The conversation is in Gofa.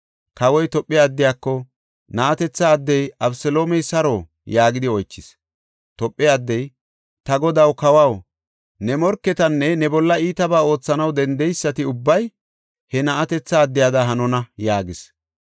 Kawoy Tophe addiyako, “Na7atetha addey Abeseloomey saro?” yaagidi oychis. Tophe addey, “Ta godaw, kawaw, ne morketinne ne bolla iitabaa oothanaw dendeysati ubbay he na7atetha addiyada hanona” yaagis.